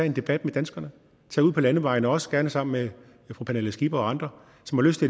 en debat med danskerne tage ud på landevejene også gerne sammen med fru pernille skipper og andre som har lyst